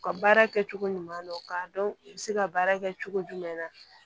U ka baara kɛcogo ɲuman na k'a dɔn u bɛ se ka baara kɛ cogo jumɛn na